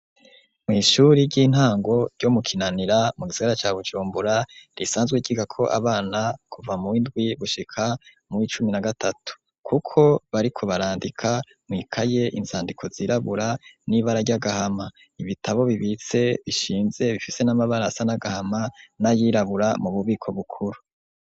Mw'ishure ry'intango ryo mu Kinanira, mu gisagara ca Bujumbura, risanzwe ryigako abana kuva muw'indwi gushika muw'icumi na gatatu. Kuko bariko barandika mwikaye, inzandiko zirabura n'ibara ry'agahama. Ibitabo bibitse bishinze, bifise n'amabara asa n'agahama n'ayirabura, mu bubiko bukuru.